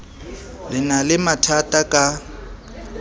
le na le mathatha ka